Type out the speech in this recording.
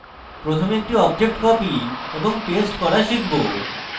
প্রথমে আমরা একটি object copy এবং paste করা শিখব